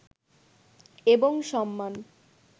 এবং সম্মান